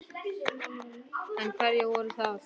En hverjir voru það?